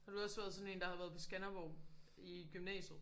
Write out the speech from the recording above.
Har du også været sådan en der har været på Skanderborg i gymnasiet